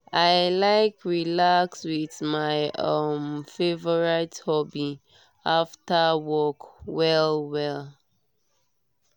i like relax with my um favorite hobby after work well well.